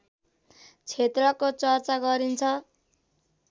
क्षेत्रको चर्चा गरिन्छ